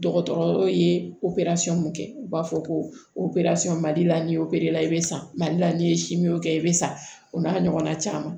Dɔgɔtɔrɔw ye opereli mun kɛ u b'a fɔ ko mali la ni ye opereli la i bɛ san mali la ni ye kɛ i bɛ sa o n'a ɲɔgɔnna caman